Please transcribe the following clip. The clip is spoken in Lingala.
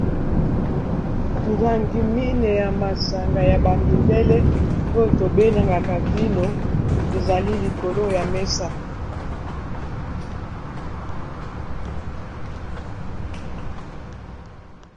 milangi mine ya masanga ya bamindele oyo tobenangaka vino ezali likolo ya mesa